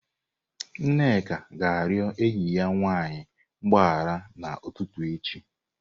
Nneka ga-arịọ enyi ya nwanyị mgbaghara n'ụtụtụ echi.